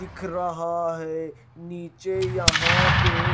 दिख रहा है नीचे यहां पे--